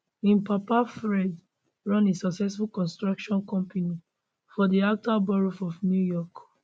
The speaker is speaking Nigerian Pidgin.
im papa fred run a successful construction company for di outer boroughs of new york